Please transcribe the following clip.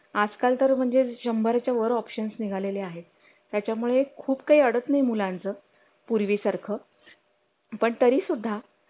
आजकाल तर म्हणजे शंबर च्या वर obtain निघालेले आहेत त्याच्या मुळे खूप काही अडत नाही मुलांचं पूर्वी सारखं पण तरी सुद्धा